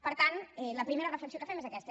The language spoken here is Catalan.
per tant la primera reflexió que fem és aquesta